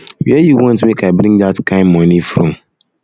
where you want make i bring dat kin money from